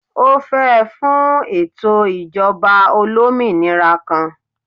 O fẹ fun eto ijọba olominira kan.